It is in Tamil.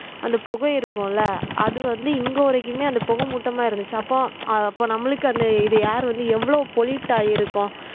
அந்த புகை இருக்கும் இல்ல அது வந்து இங்க வரைக்குமே அந்த புகை மூட்டமா இருந்துச்சு அப்போ அப்ப நம்மளுக்கு அந்த இது air வந்து எவ்ளோ pollute ஆயிருக்கும் pollute ஆயிருக்கும்